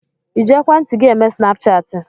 Ịji ekwentị gị eme snapchaatị?